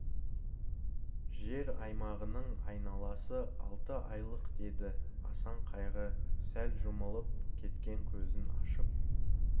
жер аймағының айналасы алты айлық деді асан қайғы сәл жұмылып кеткен көзін ашып